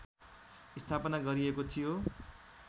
स्थापना गरिएको थियो